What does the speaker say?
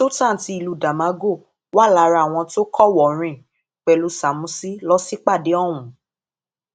sultan ti ìlú damagor wà lára àwọn tó kọwòọrìn pẹlú sámúsì lọ sípàdé ọhún